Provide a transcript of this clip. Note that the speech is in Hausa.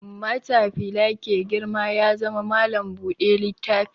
Matafila ke girma ya zama malam buɗe littafi